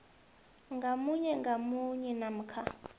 ngamunye ngamunye namkha